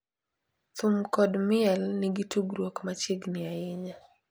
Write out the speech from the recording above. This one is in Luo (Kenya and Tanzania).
thum kod miel nigi tudruok machiegni ahinya.